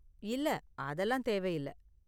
இல்ல, அதெல்லாம் தேவையில்ல.